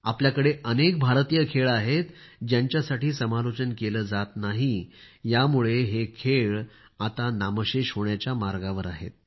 आपल्याकडे अनेक भारतीय खेळ आहेत ज्यांच्यासाठी समालोचन केले जात नाही यामुळे हे खेळ आता नामशेष होण्याच्या मार्गावर आहेत